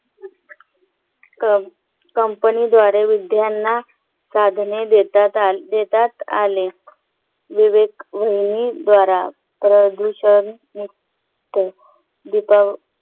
कम कंपनीद्वारे विद्यार्थ्यांना साधने देतात देण्यात आली. विवेक वहिनी द्वारा तराजू शिवाय निमित्त दीपावली